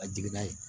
Ka jigin n'a ye